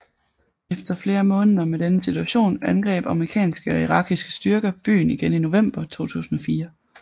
Efter flere måneder med denne situation angreb amerikanske og irakiske styrker byen igen i november 2004